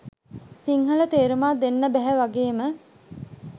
සිංහල තේරුමක් දෙන්න බැහැ වගේම